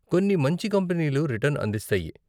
కొన్ని మంచి కంపనీలు రిటర్న్ అందిస్తాయి.